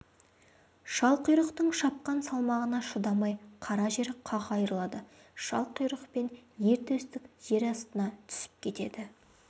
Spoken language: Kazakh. шалқұйрықтың шапқан салмағына шыдамай қара жер қақ айырылады шалқұйрық пен ер төстік жер астына түсіп кетеді